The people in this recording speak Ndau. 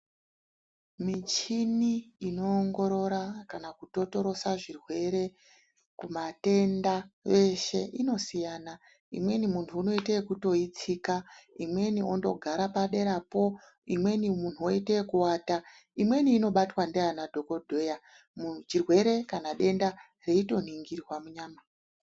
Michini inoongorora kana kutotorosa zvirwere kumatenda eshe inosiyana imweni muntu unoite yekutoiitsika, imweni ondogara paderapo, imweni munhu oite ekuwata, imweni inobatwa ndiana dhokodheya chirwere kana denda zveitoningirwa munyama.